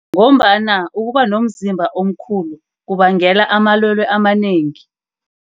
Ngombana ukuba nomzimba omkhulu kubangela amalwele amanengi.